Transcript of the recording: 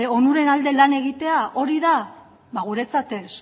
onuren alde lan egitea hori da ba guretzat ez